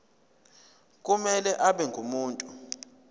kumele abe ngumuntu